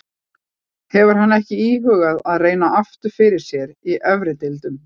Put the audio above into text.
Hefur hann ekki íhugað að reyna aftur fyrir sér í efri deildum?